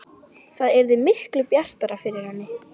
Það yrði miklu bjartara yfir henni.